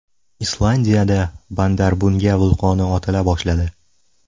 Islandiyada Bardarbunga vulqoni otila boshladi.